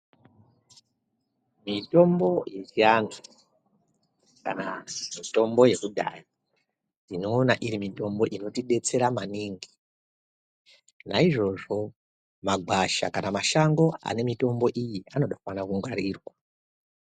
Mitombo yechiantu kana mitombo yekudhaya ndinoona iri mitombo inotidetsera maningi. Naizvozvo magwasha kana mashango anemitombo iyi anofanira kungwarirwa.